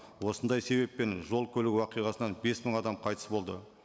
осындай себеппен жол көлік оқиғасынан бес мың адам қайтыс болды